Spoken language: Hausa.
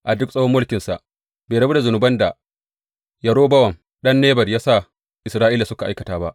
A duk tsawon mulkinsa, bai rabu da zunuban da Yerobowam ɗan Nebat ya sa Isra’ila suka aikata ba.